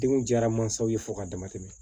Denw jara mansaw ye fo ka dama tɛmɛ